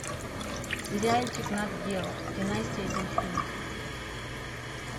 сериальчик нат гео династия дельфинов